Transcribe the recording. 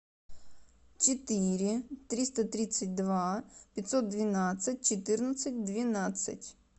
четыре триста тридцать два пятьсот двенадцать четырнадцать двенадцать